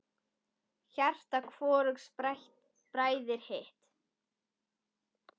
Hjarta hvorugs bræðir hitt.